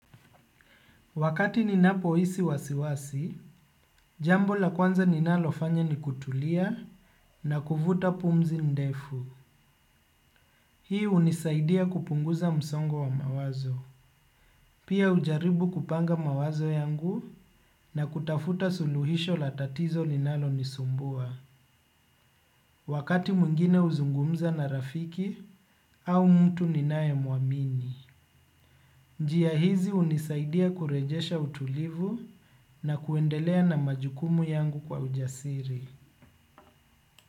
Wakati ninapohisi wasiwasi, jambo la kwanza ninalofanya ni kutulia na kuvuta pumzi ndefu. Hii hunisaidia kupunguza msongo wa mawazo. Pia hujaribu kupanga mawazo yangu na kutafuta suluhisho la tatizo linalonisumbua. Wakati mwingine huzungumza na rafiki au mtu ninayemuamini. Njia hizi hunisaidia kurejesha utulivu na kuendelea na majukumu yangu kwa ujasiri.